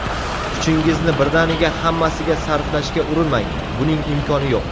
Kuchingizni birdaniga hammasiga sarflashga urinmang: buning imkoni yo‘q.